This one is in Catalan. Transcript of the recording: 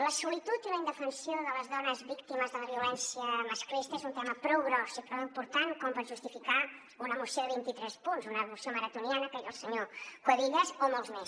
la solitud i la indefensió de les dones víctimes de la violència masclista és un tema prou gros i prou important com per justificar una moció de vint i tres punts una moció maratoniana que en diu el senyor cuevillas o molts més